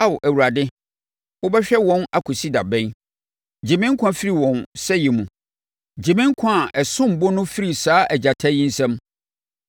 Ao Awurade, wobɛhwɛ wɔn akɔsi da bɛn? Gye me nkwa firi wɔn sɛeɛ mu, gye me nkwa a ɛsom bo no firi saa agyata yi nsam.